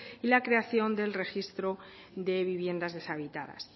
y la creación del registro de viviendas deshabitadas